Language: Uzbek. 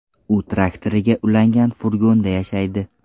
U traktoriga ulangan furgonda yashaydi.